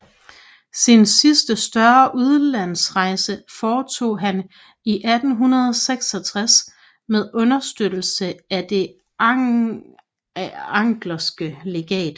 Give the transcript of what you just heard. Sin sidste større udenlandsrejse foretog han i 1866 med understøttelse af Det anckerske Legat